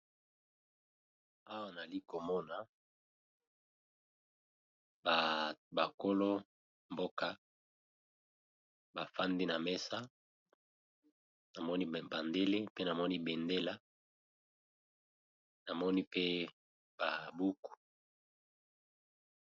Awa nali komona ba kolo mboka bafandi na mesa, namoni ba bandele pe namoni bendela namoni pe ba buku.